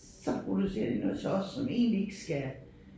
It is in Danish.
Så producerer de noget til os som egentlig ikke skal